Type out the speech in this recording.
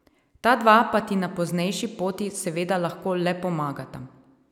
Ta dva pa ti na poznejši poti seveda lahko le pomagata.